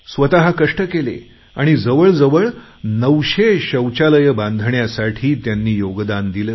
स्वतः कष्ट केले आणि जवळ जवळ 900 शौचालयं बांधण्यासाठी त्यांनी योगदान दिले